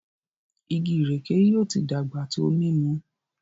Ìgi ìrèké yí o tí dàgbà tó mímú